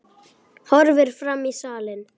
Horfir fram í salinn.